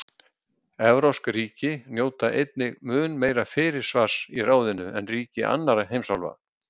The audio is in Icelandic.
Evrópsk ríki njóta einnig mun meira fyrirsvars í ráðinu en ríki annarra heimsálfa.